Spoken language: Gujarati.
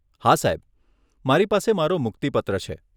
હા, સાહેબ. મારી પાસે મારો મુક્તિ પત્ર છે.